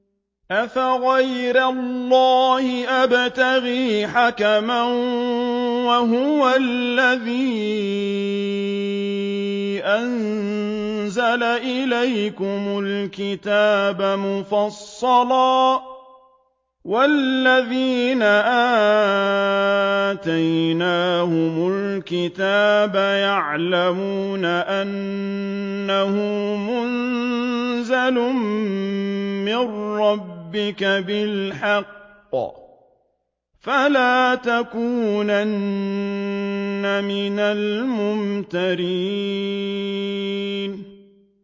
أَفَغَيْرَ اللَّهِ أَبْتَغِي حَكَمًا وَهُوَ الَّذِي أَنزَلَ إِلَيْكُمُ الْكِتَابَ مُفَصَّلًا ۚ وَالَّذِينَ آتَيْنَاهُمُ الْكِتَابَ يَعْلَمُونَ أَنَّهُ مُنَزَّلٌ مِّن رَّبِّكَ بِالْحَقِّ ۖ فَلَا تَكُونَنَّ مِنَ الْمُمْتَرِينَ